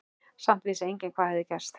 Samt vissi enginn hvað hafði gerst.